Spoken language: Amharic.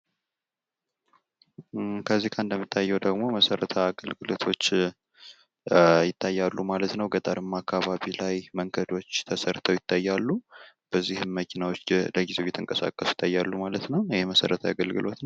ከዚህ ጋ እንደሚታየው ደሞ መሰረትዊ አገልግሎቶች ይታያሉ ማለት ነው። ገጠርማ አካባቢ ላይ መንገዶች ተሠርተው ይታያሉ ።በዚህም መኪናዎች ለጊዚው እየተንቀሳቀሱ ይታያል ማለት ነው። ይህ መሰረትዊ አገልግሎት